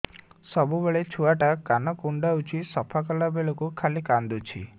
ସବୁବେଳେ ଛୁଆ ଟା କାନ କୁଣ୍ଡଉଚି ସଫା କଲା ବେଳକୁ ଖାଲି କାନ୍ଦୁଚି